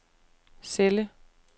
celle